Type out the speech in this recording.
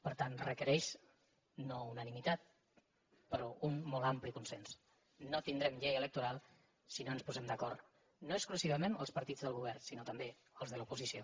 per tant requereix no unanimitat però un molt ampli consens no tindrem llei electoral si no ens posem d’acord no exclusivament els partits del govern sinó també els de l’oposició